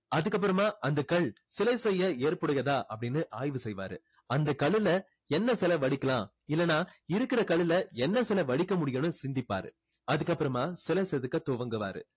அதுக்கு அப்பறமா அந்த கல் சிலை செய்ய ஏற்பு உடையதா அப்படின்னு ஆய்வு செய்வாரு அந்த கல்லுல என்ன சிலை வடிக்கலாம் இல்லன்னா இருக்குற கல்லுல என்ன சிலை வடிக்க முடியும்னு சிந்திப்பாரு அதுக்கு அப்புறமா சிலை செதுக்க துவங்குவாரு